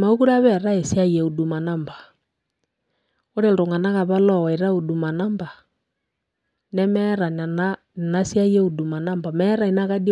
Mekure apa eetae esiai e Huduma Number. Ore iltung'anak apa lowaita Huduma Number, nemeeta nena inasiai e Huduma Number meeta inakadi